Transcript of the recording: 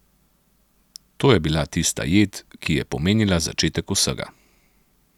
To je bila tista jed, ki je pomenila začetek vsega.